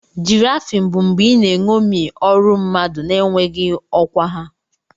Giraffing bụ mgbe ị na-eṅomi ọrụ mmadụ na-enweghị ọkwa ha.